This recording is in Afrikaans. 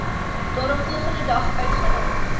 daaropvolgende dag uitgereik